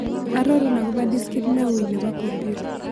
Arorun agobo diskit newuii ne po kompyuta